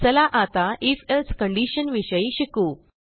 चला आताif elseकंडीशन विषयी शिकू